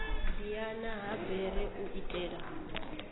diana ha bere u itela